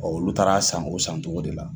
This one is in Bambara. olu taara san o san cogo de la.